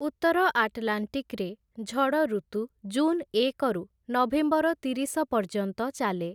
ଉତ୍ତର ଆଟଲାଣ୍ଟିକ୍‌ରେ ଝଡ଼ ଋତୁ ଜୁନ୍ ଏକରୁ ନଭେମ୍ବର ତିରିଶ ପର୍ଯ୍ୟନ୍ତ ଚାଲେ ।